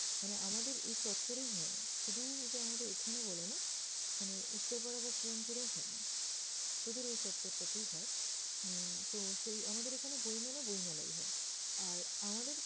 মানে আমাদের এই চত্বরেই হয়না। শুধু যে আমাদের এখানে বলে না মানে উত্তরপাড়া বা শ্রীরামপুরেও হয়না, তোদের ওই চত্বরটাতেই হয়। উম তো সেই আমাদের এখানে বইমেলা বইমেলায়ই হয় আর আমাদের